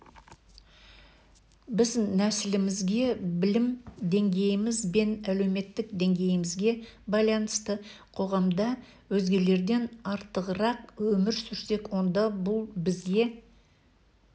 біз нәсілімізге білім деңгейіміз бен әлеуметтік деңгейімізге байланысты қоғамда өзгелерден артығырақ өмір сүрсек онда бұл бізге